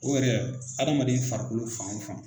O yɛrɛ adamaden farikolo fan o fan